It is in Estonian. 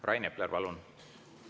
Rain Epler, palun!